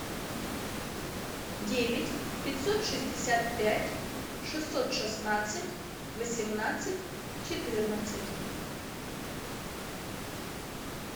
девять пятьсот шестьдесят пять шестьсот шестнадцать восемнадцать четырнадцать